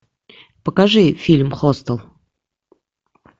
покажи фильм хостел